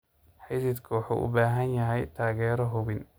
Xididku wuxuu u baahan yahay taageero xubin.